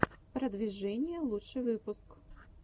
продвижение лучший выпуск